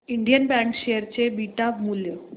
Indian bank share चे beta मूल्य